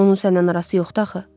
Onun sənlə arası yoxdur axı.